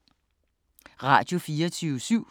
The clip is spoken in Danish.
Radio24syv